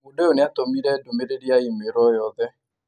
Mũndũ ũyũ nĩ aatũmire ndũmĩrĩri ya i-mīrū o yothe